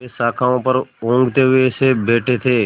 वे शाखाओं पर ऊँघते हुए से बैठे थे